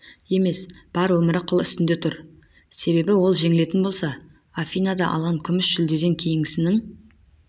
емес бар өмірі қыл үстінде тұр себебі ол жеңілетін болса афинада алған күміс жүлдеден кейінгісінің